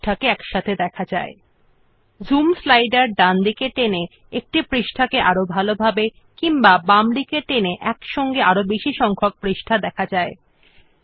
we can also drag the zoom slider to the right to zoom into a page or to the left to show more pages